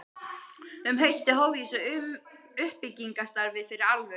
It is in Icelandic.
Um haustið hóf ég svo uppbyggingarstarfið fyrir alvöru.